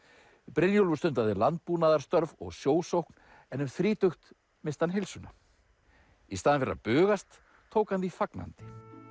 Brynjólfur stundaði landbúnaðarstörf og sjósókn en um þrítugt missti hann heilsuna í staðinn fyrir að bugast tók hann því fagnandi